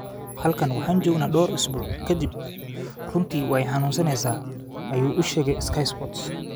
“Halkan waxaan joognaa dhowr isbuuc ka dib, runtii way xanuuneysaa,” ayuu u sheegay Sky Sports.